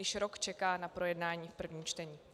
Již rok čeká na projednání v prvním čtení.